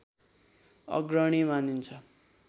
अग्रणी मानिन्छ